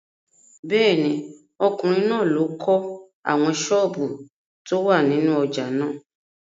Bẹ́ẹ̀ni, ọkùnrin náà ló kọ́ àwọn sọ́ọ̀bù tó wà nínú ojà náà.